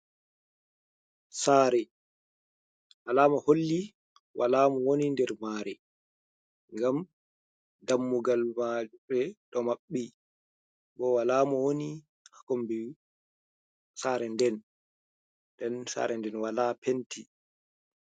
Sare alama holli wala mo woni nder mare, gam dammugal mare do mabɓi bo wala mo woni ha kombi sareden, den sarenden wala penti.